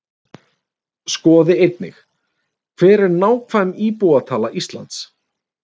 Skoði einnig: Hver er nákvæm íbúatala Íslands?